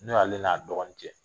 Ni ale n'a dɔgɔnin cɛ.